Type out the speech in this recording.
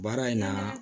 Baara in na